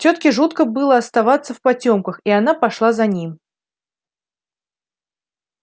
тётке жутко было оставаться в потёмках и она пошла за ним